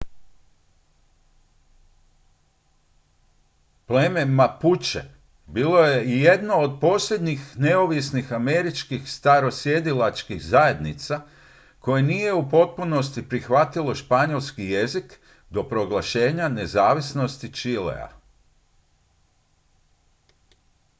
pleme mapuche bilo je i jedno od posljednjih neovisnih američkih starosjedilačkih zajednica koje nije u potpunosti prihvatilo španjolski jezik do proglašenja nezavisnosti čilea